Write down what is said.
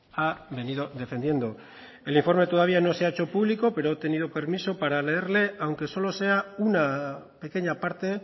ha venido defendiendo el informe todavía no se ha hecho público pero he obtenido permiso para leerle aunque solo sea una pequeña parte